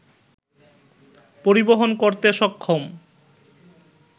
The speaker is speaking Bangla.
পরিবহন করতে সক্ষম